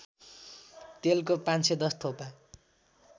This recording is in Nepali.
तेलको ५१० थोपा